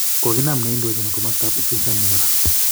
Koginam nendojin komostoab upinzani korak.